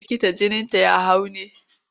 Likita jininta ya hau ne?